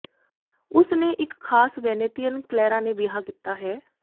ਉਸ ਨੇ ਇੱਕ ਖਾਸ ਵੈਨੀਤੀਅਨ ਕ੍ਲੈਰਾ ਨੇ ਵਿਆਹ ਕੀਤਾ ਹੈ